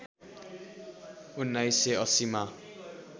१९८० मा